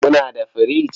Kuna da firich?